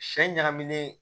Sɛ ɲagaminen